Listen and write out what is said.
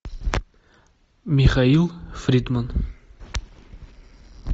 михаил фридман